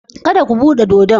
Kada ku buɗe dodon